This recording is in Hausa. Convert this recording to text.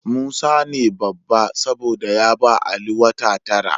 Musa ne babba, saboda ya ba Ali wata tara.